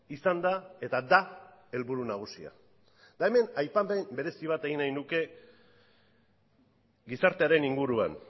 izan da eta da helburu nagusia eta hemen aipamen berezi bat egin nahi nuke gizartearen inguruan